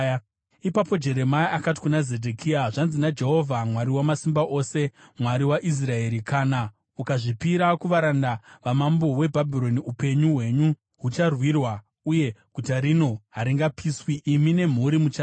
Ipapo Jeremia akati kuna Zedhekia, “Zvanzi naJehovha Mwari Wamasimba Ose, Mwari waIsraeri: ‘Kana ukazvipira kuvaranda vamambo weBhabhironi, upenyu hwenyu hucharwirwa uye guta rino haringapiswi; imi nemhuri muchararama.